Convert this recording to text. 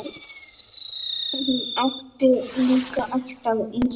Hún átti líka alltaf ísblóm.